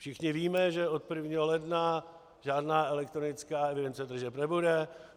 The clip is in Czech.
Všichni víme, že od 1. ledna žádná elektronická evidence tržeb nebude.